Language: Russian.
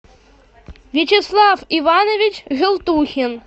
вячеслав иванович желтухин